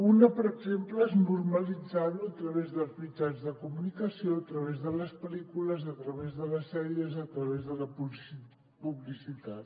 una per exemple és normalitzar lo a través dels mitjans de comunicació a través de les pel·lícules a través de les sèries i a través de la publicitat